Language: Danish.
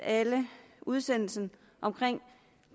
udsendelsen